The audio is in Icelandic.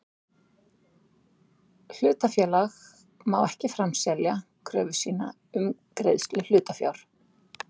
Hlutafélag má ekki framselja kröfu sína um greiðslu hlutafjár.